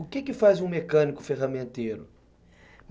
O que que faz um mecânico ferramenteiro?